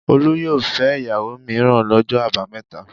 Olú yóò fẹ́ ìyàwó mìíràn lọ́jọ́ àbámẹ́ta.